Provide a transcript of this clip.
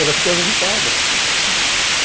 Ela ficava irritada.